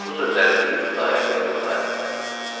Bu sözləri deyib Xudayar bəy durdu ayağa.